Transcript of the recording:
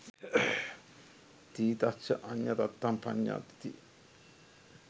ඨිතස්ස අඤ්ඤතත්තං පඤ්ඤායති /